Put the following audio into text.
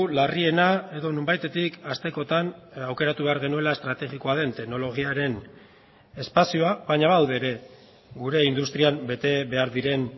larriena edo nonbaitetik hastekotan aukeratu behar genuela estrategikoa den teknologiaren espazioa baina badaude ere gure industrian bete behar diren